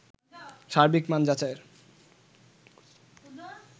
সার্বিক মান যাচাইয়ের